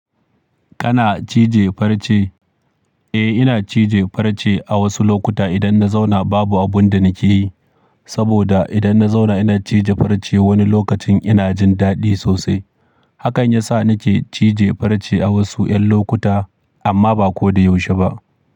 Kana cije farce? Eh, ina cije farce a wasu lokuta idan na zauna babu abun da nake yi. Saboda idan na zauna ina cije farce wani lokacin ina jin daɗi sosai. Hakan ya sa nake cije farce a wasu 'yan lokuta amma ba ko da yaushe ba.